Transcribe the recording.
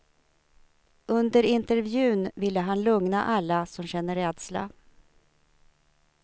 Under intervjun ville han lugna alla som känner rädsla.